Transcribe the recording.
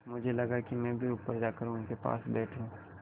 मुझे लगा कि मैं भी ऊपर जाकर उनके पास बैठूँ